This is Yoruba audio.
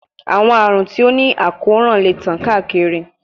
Awọn arun ti o ni akoran le tan kaakiri